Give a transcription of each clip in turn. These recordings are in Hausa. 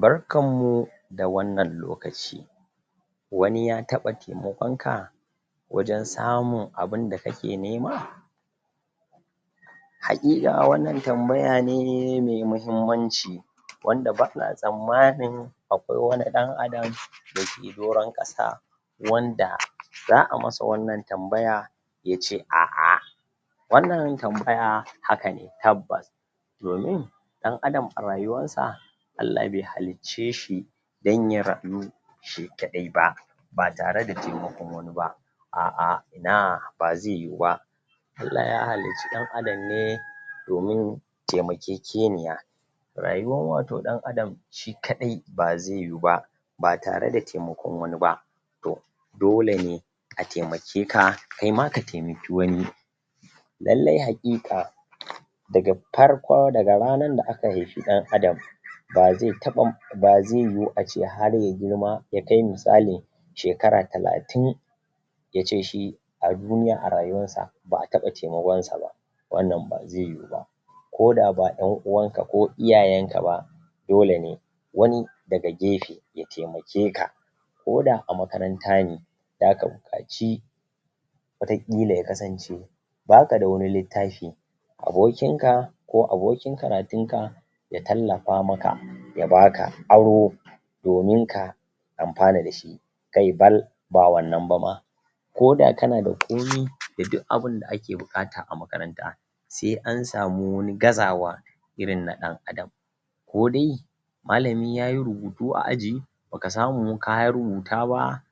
Barkanmu da wannan lokaci wani ya taɓa taimakon ka wajen samun abinda kake nema haƙiƙa wannan tambaya ne mai mahimmanci wanda bana tsammanin akwai wani ɗan adam, dake doron ƙasa wanda za a masa wannan tambaya yace a'a wannan tambaya hakane tabbas domin ɗan adam a rayuwarsa Allah be halicce shi dan ya rayu shi kaɗai ba ba tare da taimakon wani ba a'a ina, bazai yiwu ba Allah ya halicci ɗan adam ne domin temakekeniya rayuwan wato ɗan adam shi kaɗai bazai yiwu ba ba tare da taimakon wani ba to dole ne a temake ka, kaima ka temaki wani lallai haƙiƙa daga farkon, daga ranar da aka haifi ɗan adam bazai taɓa bazai yiwu ace har ya girma, ya kai misali shekara talatin yace shi a duniya,a rayuwansa ba a taɓa taimakon sa ba wannan bazai yiwu ba koda ba ƴan uwanka ko iyayenka ba dole ne wani daga gefe ya temake ka koda a makaranta ne zaka buƙaci wataƙila ya kasance bakada wani littafi abokin ka ko abokin karatun ka ya tallafa maka ya baka aro domin ka amfana dashi kai bal ba wannan ba ma koda kanada komi, da duk abinda ake buƙata a makaranta se an samu wani gazawa irin na ɗan adam ko dai malami yayi rubutu a aji baka samu ka rubuta ba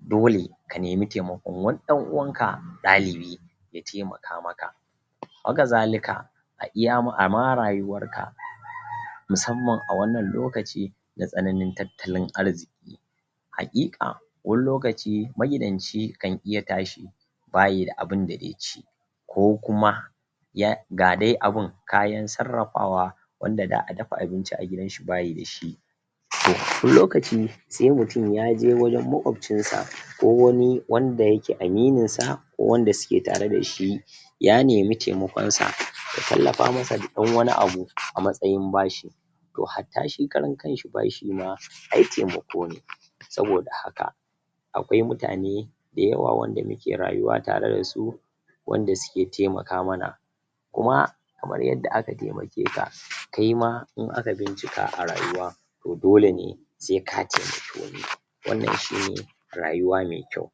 dole ka nemi temakon wani ɗan uwanka ɗalibi ya temaka maka haka zalika a iya,a ma rayuwarka musamman a wannan lokaci na tsananin tattalin arziƙi haƙiƙa wani lokaci, magidanci kan iya tashi bayida abinda ze ci ko kuma ya, ga dai abun kayan sarrafawa wanda da a dafa abinci a gidan shi bayi dashi to,? lokaci se mutum yaje wajen makwafcin sa ko wani wanda yake aminin sa ko wanda suke tare dashi ya nemi temakonsa, ya tallafa masa da ɗan wani abu a matsayin bashi to hatta shi karan kanshi bashi ma ai temako ne saboda haka akwai mutane da yawa wanda muke rayuwa tare dasu wanda suke temaka mana kuma kamar yadda aka temake ka, kaima in aka bincika a rayuwa to dole ne se ka temaki wani wannan shine rayuwa me kyau